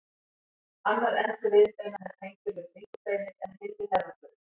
Annar endi viðbeina er tengdur við bringubeinið en hinn við herðablöðin.